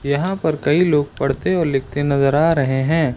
यहां पर कई लोग पढ़ते और लिखते नजर आ रहे हैं।